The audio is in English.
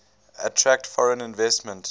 attract foreign investment